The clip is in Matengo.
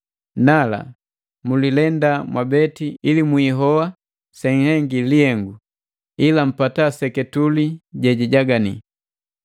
Nala, mulilenda mwabeti ili mwihoa senhengi lihengu, ila mpata seketule jejijagani.